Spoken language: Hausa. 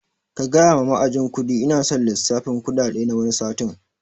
Kagaya ma ma'ajin kuɗi ina son lissafin kuɗaɗe na wani satin